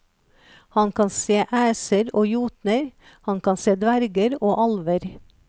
Han kan se æser og jotner, han kan se dverger og alver.